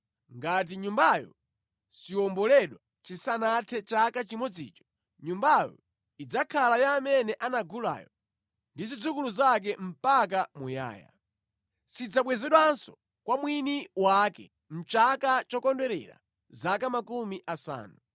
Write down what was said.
Ngati nyumbayo siwomboledwa chisanathe chaka chimodzicho, nyumbayo idzakhala ya amene anagulayo ndi zidzukulu zake mpaka muyaya. Sidzabwezedwanso kwa mwini wake mʼchaka chokondwerera zaka makumi asanu.